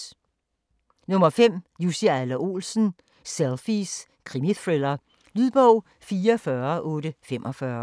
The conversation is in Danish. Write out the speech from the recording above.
5. Adler-Olsen, Jussi: Selfies: krimithriller Lydbog 44845